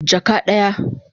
Jaka daya